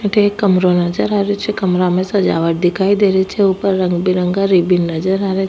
अठे एक कमरों नजर आ रियो छे कमरा में सजावट दिखाई दे रही छे ऊपर रंग बिरंगा रिब्बन नजर आ रिया।